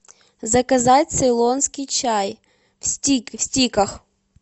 заказать цейлонский чай в стиках